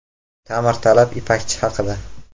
Ta’mirtalab Ipakchi haqida .